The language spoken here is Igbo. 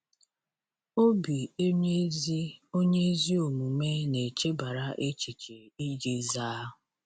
“Obi onye ezi onye ezi omume na-echebara echiche iji zaa.”